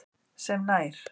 sem nær